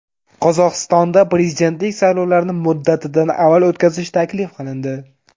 Qozog‘istonda prezidentlik saylovlarini muddatidan avval o‘tkazish taklif qilindi.